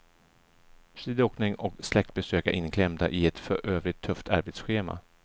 Skidåkning och släktbesök är inklämda i ett för övrigt tufft arbetsschema.